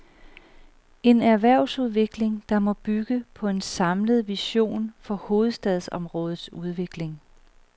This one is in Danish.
En erhvervsudvikling, der må bygge på en samlet vision for hovedstadsområdets udvikling.